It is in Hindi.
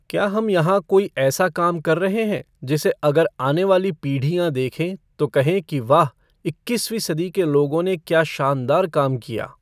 क्या हम यहां कोई ऐसा काम कर रहे हैं जिसे अगर आने वाली पीढ़ियाँ देखें तो कहें कि वाह इक्कीसवीं सदी के लोगों ने क्या शानदार काम किया!